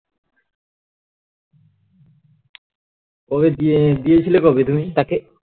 এই দিয়ে দিয়েছিলে কবে তুমি তাকে